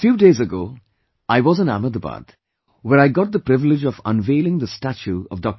A few days ago, I was in Ahmedabad, where I got the privilege of unveiling the statue of Dr